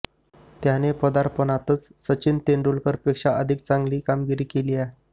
त्यानं पदार्पणातचं सचिन तेंडुलकर पेक्षा अधिक चांगली कामगिरी केलीये